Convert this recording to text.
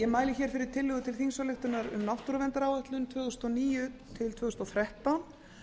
ég mæli hér fyrir tillögu til þingsályktunar um náttúruverndaráætlun tvö þúsund og níu til tvö þúsund og þrettán